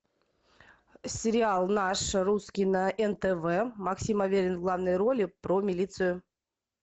сериал наш русский на нтв максим аверин в главной роли про милицию